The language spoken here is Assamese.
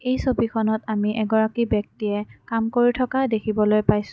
এই ছবিখনত আমি এগৰাকী ব্যক্তিয়ে কাম কৰি থকা দেখিবলৈ পাইছোঁ।